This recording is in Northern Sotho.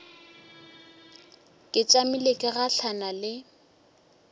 ke tšamile ke gahlana le